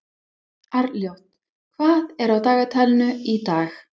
Arnljót, hvað er á dagatalinu í dag?